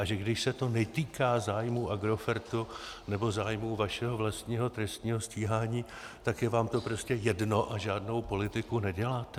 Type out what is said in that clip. A že když se to netýká zájmů Agrofertu nebo zájmů vašeho vlastního trestního stíhání, tak je vám to prostě jedno a žádnou politiku neděláte?